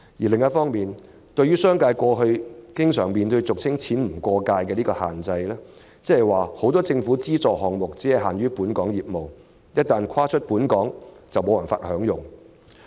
另一方面，對於商界過去經常面對俗稱"錢不過界"的規限，即是說政府很多資助項目只適用於本港業務，海外業務無法受惠。